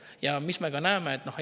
Ja mida me näeme?